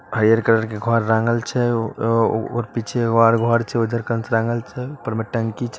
हरियर कलर के घर रंगल छै औ-औ-और पीछे उ आर घर छै। उधर टाँगल छै ऊपर में टंकी छै।